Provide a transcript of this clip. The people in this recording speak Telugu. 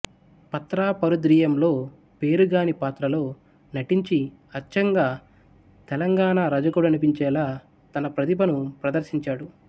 ప్రతాపరుద్రీయంలో పేరిగాని పాత్రలో నటించి అచ్చంగా తెలంగాణా రజకుడనిపించేలా తన ప్రతిభను ప్రదర్శించాడు